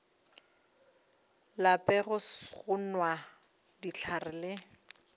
lape go nwa dihlare le